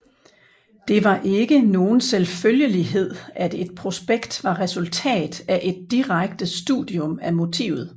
Det var ikke nogn selvfølgelighed at et prospekt var resultat af et direkte studium af motivet